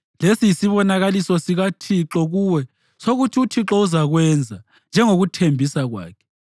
Lesi yisibonakaliso sikaThixo kuwe sokuthi uThixo uzakwenza njengokuthembisa kwakhe: